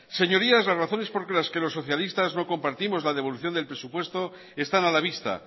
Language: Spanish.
señorías las razones por las que los socialistas no compartimos la devolución del presupuesto están a la vista